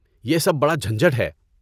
یہ سب بڑا جھنجھٹ ہے۔